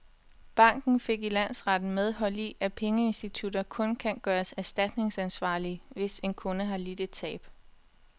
Banken fik i landsretten medhold i, at pengeinstitutter kun kan gøres erstatningsansvarlige, hvis en kunde har lidt et tab.